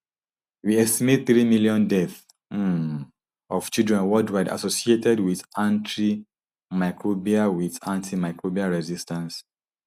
we estimate three million deaths um of children worldwide associated wit antimicrobial wit antimicrobial resistance